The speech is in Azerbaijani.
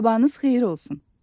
Sabahınız xeyir olsun.